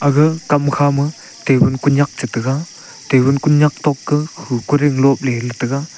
gag kam khama tabun konyak chi taiga tabun konyak tokto kah khu koding lopley taga.